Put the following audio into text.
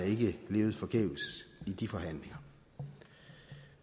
ikke levet forgæves i de forhandlinger